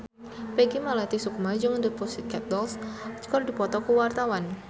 Peggy Melati Sukma jeung The Pussycat Dolls keur dipoto ku wartawan